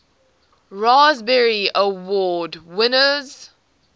raspberry award winners